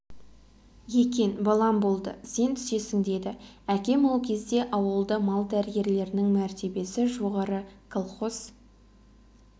екен балам болды сен түсесің деді әкем ол кезде ауылда мал дәрігерлерінің мәртебесі жоғары колхоз